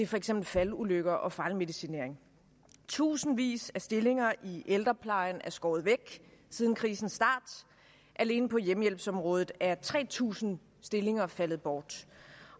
for eksempel faldulykker og fejlmedicinering tusindvis af stillinger i ældreplejen er skåret væk siden krisens start alene på hjemmehjælpsområdet er tre tusind stillinger faldet bort